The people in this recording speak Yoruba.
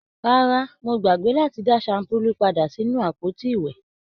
Rárá, Mo gbàgbé láti dá shampulu pàdà sínú àpótí iwẹ.